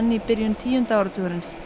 í byrjun tíunda áratugarins